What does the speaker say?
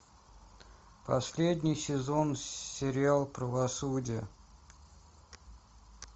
последний сезон сериал правосудие